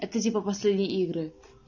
это типа последние игры